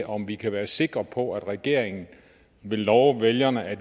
om vi kan være sikre på at regeringen vil love vælgerne at